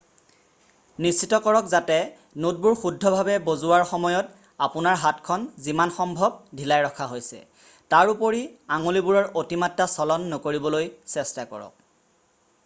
নিশ্চিত কৰক যাতে নোটবোৰ শুদ্ধ ভাৱে বজোৱাৰ সময়ত আপোনাৰ হাতখন যিমান সম্ভৱ ঢিলাই ৰখা হৈছে তাৰোপৰি আঙুলিবোৰৰ অতিমাত্ৰা চলন নকৰিবলৈ চেষ্টা কৰক